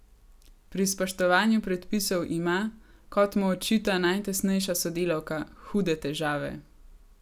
Pri spoštovanju predpisov ima, kot mu očita najtesnejša sodelavka, hude težave.